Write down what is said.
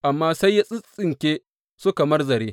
Amma sai ya tsintsinke su kamar zare.